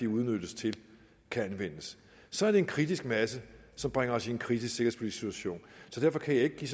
udnyttes til kan anvendes så er det en kritisk masse som bringer os i en kritisk sikkerhedspolitisk situation så derfor kan jeg ikke give